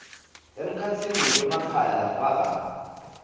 emkhatsini kwemakhaya lafaka